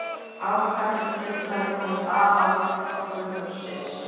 Afkvæmið getur þannig komist af án hjálpar föðurins.